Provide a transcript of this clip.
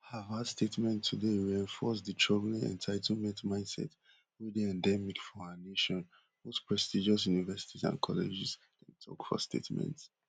harvard statement today reinforce di troubling entitlement mindset wey dey endemic for our nation most prestigious universities and colleges dem tok for statement